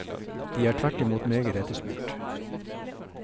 De er tvert imot meget etterspurt.